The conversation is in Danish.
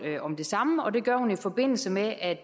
om det samme og det gør hun i forbindelse med at